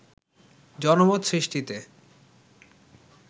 জনমত সৃষ্টিতে